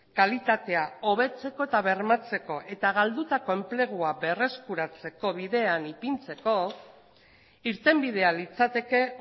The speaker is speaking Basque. kalitatea hobetzeko eta bermatzeko eta galdutako enplegua berreskuratzeko bidean ipintzeko irtenbidea litzateke